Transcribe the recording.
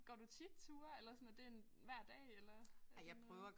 Går du tit ture eller sådan er det en hver dag eller sådan noget